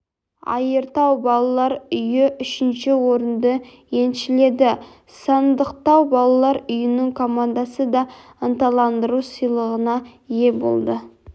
айыртау балалар үйі үшінші орынды еншіледі сандықтау балалар үйінің командасы да ынталандыру сыйлығына ие болды